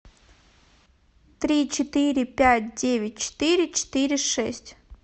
три четыре пять девять четыре четыре шесть